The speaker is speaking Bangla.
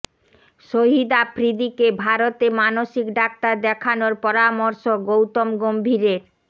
শহিদ আফ্রিদিকে ভারতে মানসিক ডাক্তার দেখানোর পরামর্শ গৌতম গম্ভীরের